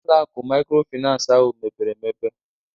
ụlọ akụ maykrofinans ahụ mepere emepe